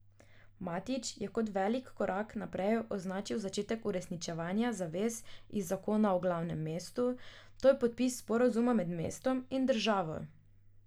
Matić je kot velik korak naprej označil začetek uresničevanja zavez iz zakona o glavnem mestu, to je podpis sporazuma med mestom in državo.